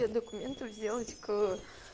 документы сделать к